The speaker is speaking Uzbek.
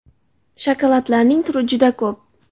Shokoladlarning turi juda ko‘p.